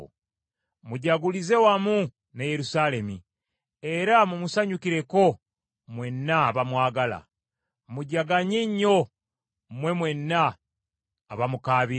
“Mujagulize wamu ne Yerusaalemi era mumusanyukireko mwenna abamwagala, mujaganye nnyo mmwe mwenna abamukaabira.